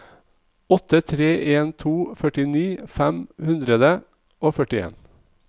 åtte tre en to førtini fem hundre og førtien